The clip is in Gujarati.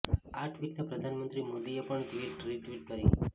આ ટ્વિટને પ્રધાનમંત્રી મોદીએ પણ રિટ્વિટ કર્યુ છે